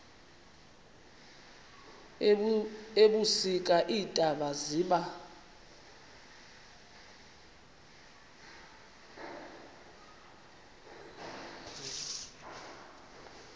ebusika iintaba ziba